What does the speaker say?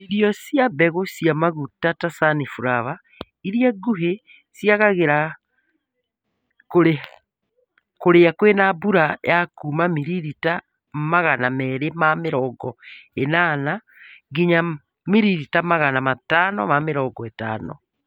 Irio cia mbegũ ci maguta ta sunflower ĩrĩa nguhĩ ciagagĩra kũrĩa kwĩna mbura ya kuuma miririta agana merĩ ma mĩrongo ĩnana nginya miririta agana Matano ma mĩrongo ĩtano